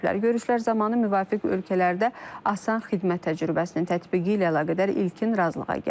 Görüşlər zamanı müvafiq ölkələrdə asan xidmət təcrübəsinin tətbiqi ilə əlaqədar ilkin razılığa gəlinib.